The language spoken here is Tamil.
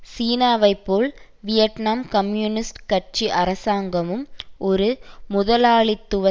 சீனாவை போல் வியட்நாம் கம்யூனிஸ்ட் கட்சி அரசாங்கமும் ஒரு முதலாளித்துவ